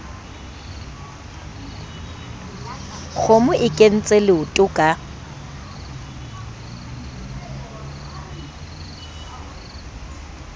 kgomo e kentse leoto ka